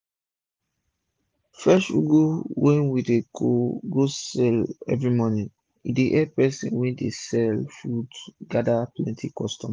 fresh ugu wey we dey go go see everi morning e epp one person wey dey sell food gada plenti customer